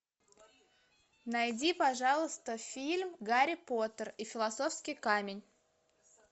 найди пожалуйста фильм гарри поттер и философский камень